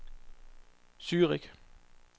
Zürich